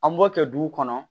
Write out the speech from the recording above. An b'o kɛ duw kɔnɔ